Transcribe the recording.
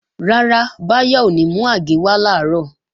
Rárá, Báyọ̀ ò ní mú àgé wá làárọ̀